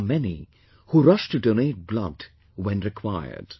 There are many who rush to donate blood, when required